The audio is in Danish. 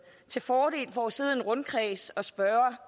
til fordel for at sidde i rundkreds og spørge